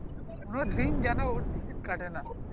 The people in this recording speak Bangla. কোনো দিন যেন ও ticket কাটে না